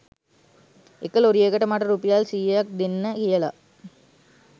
එක ලොරියකට මට රුපියල් සියයක්‌ දෙන්න කියලා